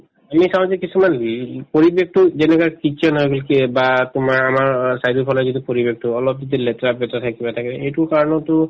আমি চাওঁ যে কিছুমান পৰিৱেশটো যেনেকুৱা kitchen হয় বা তোমাৰ আমাৰ অ চাৰিওফালে যিটো পৰিৱেশটো অলপ যদি লেতেৰা-পেতেৰা থাকে কিবা থাকে এইটোৰ কাৰণতো